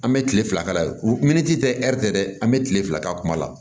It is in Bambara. An bɛ kile fila k'a la yen min ti tɛ dɛ an bɛ tile fila k'a kuma la